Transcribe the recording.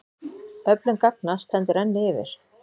Öflun gagna stendur enn yfir.